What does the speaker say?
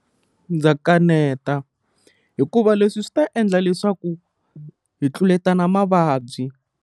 Ndza kaneta hikuva leswi swi ta endla leswaku hi tluletana mavabyi.